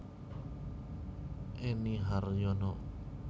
Enny Haryono